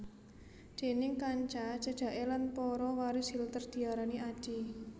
Déning kanca cedhaké lan para waris Hitler diarani Adi